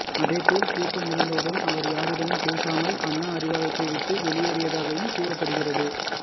அதேபோல் கூட்டம் முடிந்தவுடன் அவர் யாரிடமும் பேசாமல் அண்ணா அறிவாலயத்தை விட்டு வெளியேறியதாகவும் கூறப்படுகிறது